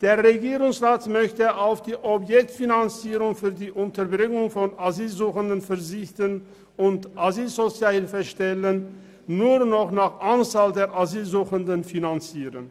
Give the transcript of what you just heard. Der Regierungsrat möchte auf die Objektfinanzierung für die Unterbringung von Asylsuchenden verzichten und Asylsozialhilfestellen nur noch nach der Anzahl der Asylsuchenden finanzieren.